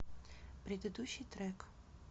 предыдущий трек